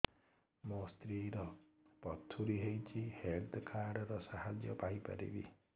ମୋ ସ୍ତ୍ରୀ ର ପଥୁରୀ ହେଇଚି ହେଲ୍ଥ କାର୍ଡ ର ସାହାଯ୍ୟ ପାଇପାରିବି